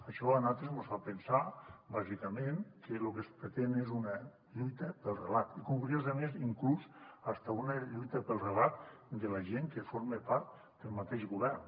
això a nosaltres mos fa pensar bàsicament que lo que es pretén és una lluita pel relat i curiosament inclús fins i tot una lluita pel relat de la gent que forma part del mateix govern